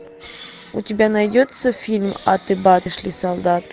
у тебя найдется фильм аты баты шли солдаты